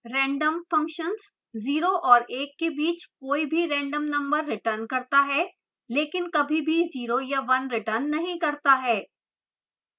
rand 0 और 1 के बीच कोई भी random number returns करता है लेकिन कभी भी 0 या 1 returns नहीं करता है